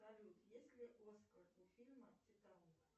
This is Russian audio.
салют есть ли оскар у фильма титаник